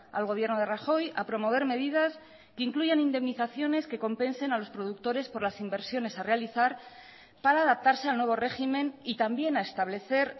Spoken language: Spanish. al gobierno de rajoy a promover medidas que incluyan indemnizaciones que compensen a los productores por las inversiones a realizar para adaptarse al nuevo régimen y también a establecer